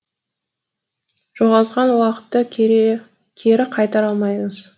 жоғалтқан уақытты кері қайтара алмаймыз